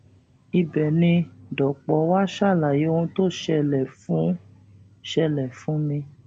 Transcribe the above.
ibẹ ni dọpọ wàá ṣàlàyé ohun tó ṣẹlẹ fún ṣẹlẹ fún mi